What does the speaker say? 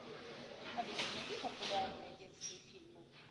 алиса найди популярные детские фильмы